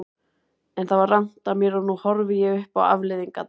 En það var rangt af mér og nú horfi ég upp á afleiðingarnar.